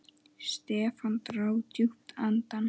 Stefán dró djúpt andann.